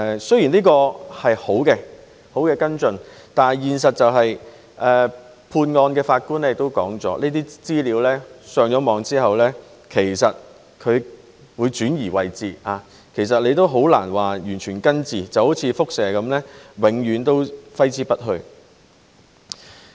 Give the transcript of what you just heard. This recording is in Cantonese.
雖然這是好的跟進，但判案的法官亦指出，這些資料被上載互聯網後會被轉移位置，其實很難完全根治，就好像輻射般，永遠揮之不去。